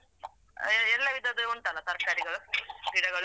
ಎಲ್ಲ ವಿಧದ್ದು ಉಂಟಲ್ಲ ತರ್ಕಾರಿಗಳು ಗಿಡಗಳು.